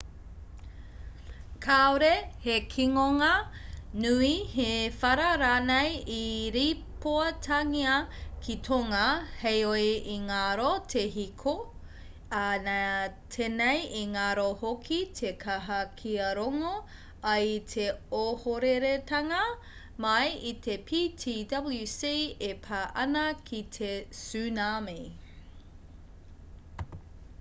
kāore he kinonga nui he whara rānei i rīpoatangia ki tonga heoi i ngaro te hiko ā nā tenei i ngaro hoki te kaha kia rongo ai i te ohoreretanga mai i te ptwc e pā ana ki te tsunami